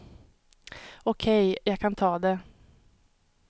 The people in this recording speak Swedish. Okej, jag kan ta det.